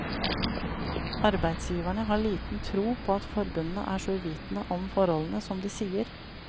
Arbeidsgiverne har liten tro på at forbundene er så uvitende om forholdene som de sier.